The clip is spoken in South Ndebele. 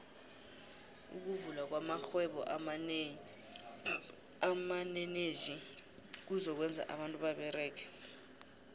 ukuvula kwamaxhhwebo amaneneji kuzo kwenza abantu baberege